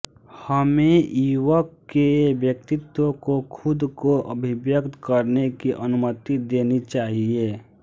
हमें युवक के व्यक्तित्व को खुद को अभिव्यक्त करने की अनुमति देनी चाहिए